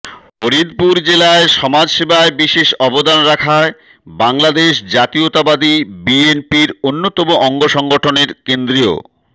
ফরিদপুর জেলায় সমাজ সেবায় বিশেষ অবদান রাখায় বাংলাদেশ জাতীয়তাবাদী বিএনপির অন্যতম অঙ্গসংগঠনের কেন্দ্রীয়